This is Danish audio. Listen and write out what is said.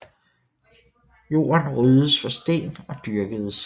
Jorden ryddedes for sten og dyrkedes